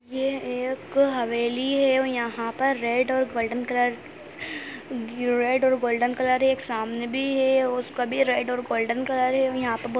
ये एक हवेली है और यहाँ पर रेड और गोल्डन कलर रेड और गोल्डन कलर एक सामने भी है उसका भी रेड और गोल्डन कलर है और यहाँ पर बहोत --